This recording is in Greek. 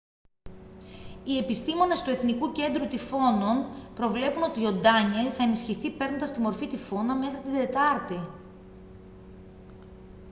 οι επιστήμονες του εθνικού κέντρου τυφώνων προβλέπουν ότι ο ντάνιελ θα ενισχυθεί παίρνοντας τη μορφή τυφώνα μέχρι την τετάρτη